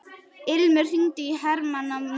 Ilmur, hringdu í Hermanníus.